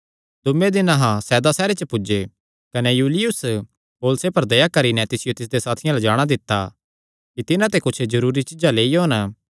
दूये दिने अहां सैदा सैहरे च पुज्जे कने युलियुस पौलुसे पर दया करी नैं तिसियो तिसदे साथियां अल्ल जाणा दित्ता कि तिन्हां ते कुच्छ जरूरी चीज्जां लेई ओन